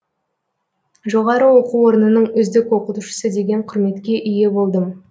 жоғары оқу орнының үздік оқытушысы деген құрметке ие болдым